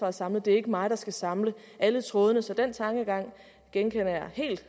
er samlet det er ikke mig der skal samle alle trådene så den tankegang genkender jeg